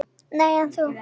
Nei, en þú?